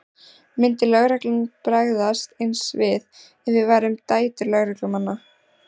Myndi lögreglan bregðast eins við ef við værum dætur lögreglumanna?